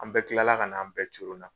An bɛɛ tilala kana, an bɛɛ coronna.